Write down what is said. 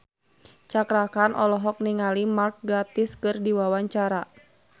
Cakra Khan olohok ningali Mark Gatiss keur diwawancara